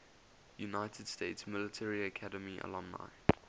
united states military academy alumni